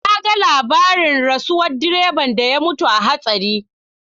Na ga labarin rasuwar direban da ya mutu a hatsarin.